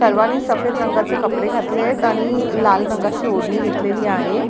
सर्वांनी सफेद रंगाचे कपडे घातले आहेत आणि लाल रंगाची ओढणी घेतलेली आहे.